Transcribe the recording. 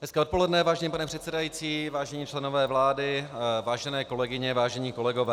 Hezké odpoledne, vážený pane předsedající, vážení členové vlády, vážené kolegyně, vážení kolegové.